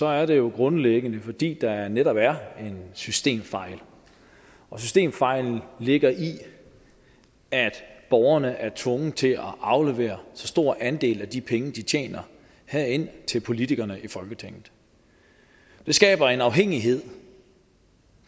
er det jo grundlæggende fordi der netop er en systemfejl og systemfejlen ligger i at borgerne er tvunget til at aflevere så stor en andel af de penge de tjener her ind til politikerne i folketinget det skaber en afhængighed